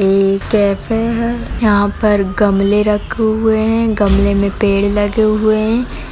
एक कैफ़े है यहाँ पर गमले रखे हुए है गमले में पेड़ लगे हुए है।